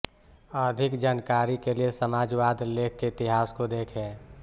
अधिक जानकारी के लिए समाजवाद लेख के इतिहास को देखें